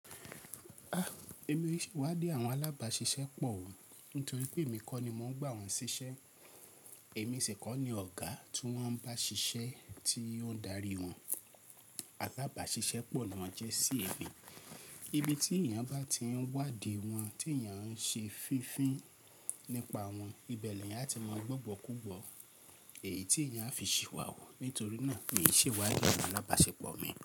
A! Èmi ò ṣe iwadi àwọn alábàṣiṣẹ́ pọ̀ o, nítorí pé èmi kọ́ ni mo ń gbà wọ́n ṣiṣẹ́. Èmi si kọ́ ni ọ̀gá tí wọ́n ń bá ṣiṣẹ́, tí ó ń darí wọn. Alábàṣiṣẹ́ pọ̀ ni wọ́n jẹ́ sí èmi. Ibi tí èèyàn bá ti ń wádìí wọn, tí èèyàn ń ṣe fífín nípa wọn, ibẹ̀ ni èèyàn á ti ma gbọ́ igbọkigbo. Èyí tí èèyàn á fi ṣìwàwù. Nítorí náà, mi ò ṣe wádìí àwọn alábàpọ̀ mi.